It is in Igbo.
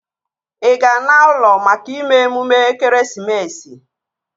Ị ga-ana ụlọ maka ime emume ekeresimesi?